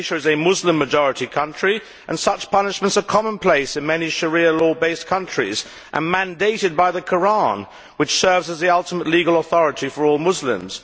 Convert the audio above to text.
Malaysia is a Muslim majority country and such punishments are commonplace in many Sharia law based countries, and are mandated by the Koran which serves as the ultimate legal authority for all Muslims.